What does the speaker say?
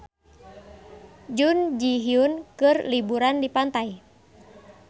Jun Ji Hyun keur liburan di pantai